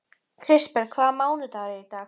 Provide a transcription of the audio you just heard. Kristberg, hvaða mánaðardagur er í dag?